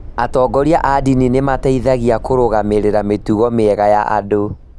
Atongoria a ndini nĩ mateithagĩa kũrũgamĩrĩra mĩtugo mĩega ya andũ.